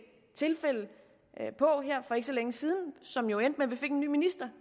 tilfælde på for ikke så længe siden som jo endte vi fik en ny minister